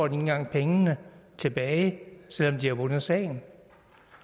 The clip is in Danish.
engang pengene tilbage selv om de har vundet sagen